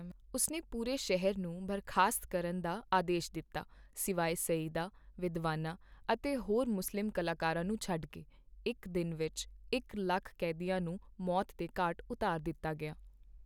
ਉਸ ਨੇ ਪੂਰੇ ਸ਼ਹਿਰ ਨੂੰ ਬਰਖ਼ਾਸਤ ਕਰਨ ਦਾ ਆਦੇਸ਼ ਦਿੱਤਾ ਸਿਵਾਇ ਸਯੀਦਾਂ, ਵਿਦਵਾਨਾਂ ਅਤੇ ਹੋਰ ਮੁਸਲਿਮ ਕਲਾਕਰਵਾਂ ਨੂੰ ਛੱਡ ਕੇ, ਇੱਕ ਦਿਨ ਵਿੱਚ ਇਕ ਲੱਖ ਕੈਦੀਆਂ ਨੂੰ ਮੌਤ ਦੇ ਘਾਟ ਉਤਾਰ ਦਿੱਤਾ ਗਿਆ ਸੀ।